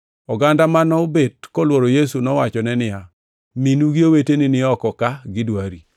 Oganda manobet kolworo Yesu nowachone niya, “Minu gi oweteni ni oko ka gidwari.”